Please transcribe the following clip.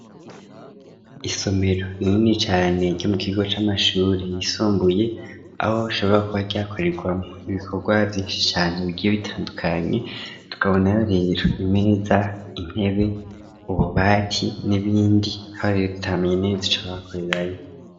Isomero rinini cane ryo mu kigo c'amashure yisumbuye aho ashobora kuba ryakorerwamo ibikorwa vyinshi cane bigiye bitandukanye, tukabona rero imeza intebe ububati n'ibindi bihari tutamenye neza ico bakorerayo.